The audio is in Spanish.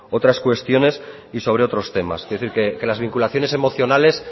otras cuestiones y sobre otros temas quiero decir que las vinculaciones emocionales